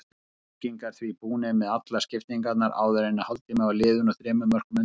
Keflvíkingar því búnir með allar skiptingarnar áður en hálftími var liðinn og þremur mörkum undir.